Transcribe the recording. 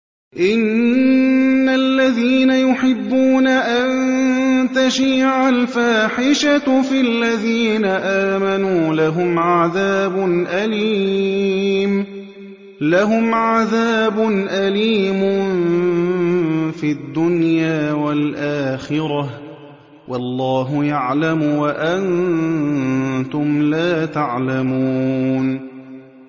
إِنَّ الَّذِينَ يُحِبُّونَ أَن تَشِيعَ الْفَاحِشَةُ فِي الَّذِينَ آمَنُوا لَهُمْ عَذَابٌ أَلِيمٌ فِي الدُّنْيَا وَالْآخِرَةِ ۚ وَاللَّهُ يَعْلَمُ وَأَنتُمْ لَا تَعْلَمُونَ